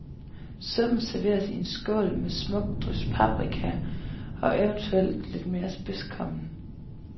Suppen serveres i en skål med et smukt drys paprika, og eventuelt lidt mere spidskommen.